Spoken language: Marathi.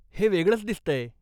हे वेगळंच दिसतंय.